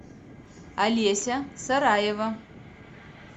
олеся сараева